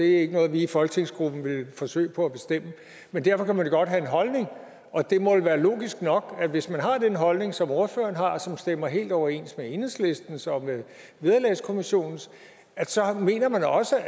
ikke noget vi i folketingsgruppen ville forsøge på at bestemme men derfor kan man jo godt have en holdning og det må vel være logisk nok at hvis man har den holdning som ordføreren har som stemmer helt overens med enhedslistens og med vederlagskommissionens så mener man også